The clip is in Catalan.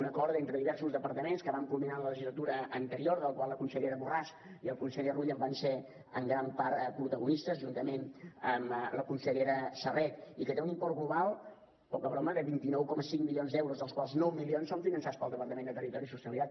un acord entre diversos departaments que vam culminar en la legislatura anterior del qual la consellera borràs i el conseller rull en van ser en gran part protagonistes juntament amb la consellera serret i que té un import global poca broma de vint nou coma cinc milions d’euros dels quals nou milions són finançats pel departament de territori i sostenibilitat